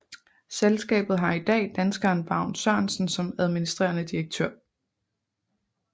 Selskabet har i dag danskeren Vagn Sørensen som administrerende direktør